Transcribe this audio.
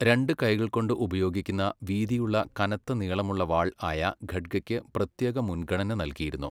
രണ്ട് കൈകൾകൊണ്ട് ഉപയോഗിക്കുന്ന വീതിയുള്ള കനത്ത നീളമുള്ള വാൾ ആയ ഖഡ്ഗയ്ക്ക് പ്രത്യേക മുൻഗണന നൽകിയിരുന്നു.